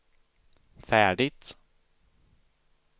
färdigt